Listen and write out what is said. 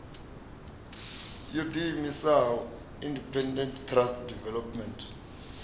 yo ḓiimisaho independent trust development